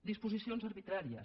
disposicions arbitràries